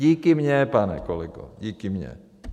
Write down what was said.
- Díky mně, pane kolego, díky mně.